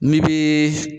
Min bi